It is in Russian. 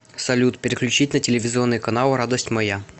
салют переключить на телевизионный канал радость моя